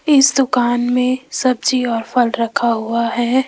इस दुकान में सब्जी और फल रखा हुआ है।